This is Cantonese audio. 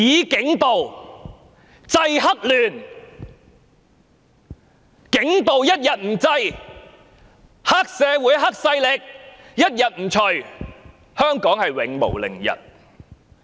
警暴一天不制，黑社會勢力一天不除，香港便永無寧日。